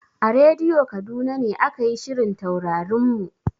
A rediyo Kaduna ne aka yi shirin Taurarin mu.